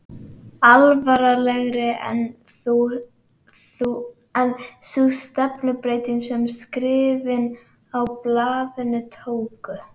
Alvarlegri var þó sú stefnubreyting sem skrifin í blaðinu tóku.